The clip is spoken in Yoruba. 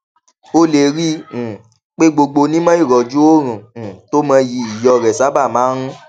o lè rí i um pé gbogbo onímọ ìrọjú oorun um tó mọyì iyò rè sábà máa ń